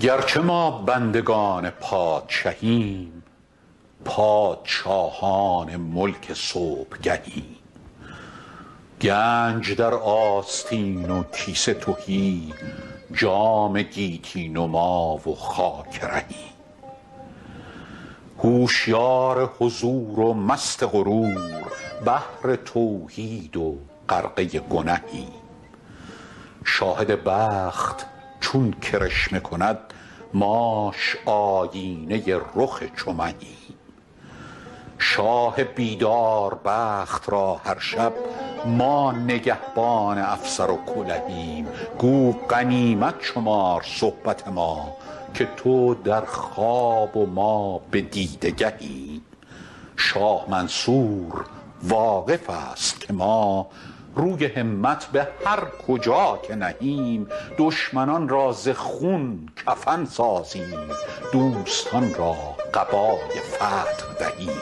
گرچه ما بندگان پادشهیم پادشاهان ملک صبحگهیم گنج در آستین و کیسه تهی جام گیتی نما و خاک رهیم هوشیار حضور و مست غرور بحر توحید و غرقه گنهیم شاهد بخت چون کرشمه کند ماش آیینه رخ چو مهیم شاه بیدار بخت را هر شب ما نگهبان افسر و کلهیم گو غنیمت شمار صحبت ما که تو در خواب و ما به دیده گهیم شاه منصور واقف است که ما روی همت به هر کجا که نهیم دشمنان را ز خون کفن سازیم دوستان را قبای فتح دهیم